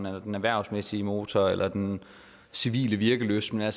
eller den erhvervsmæssige motor eller den civile virkelysts motor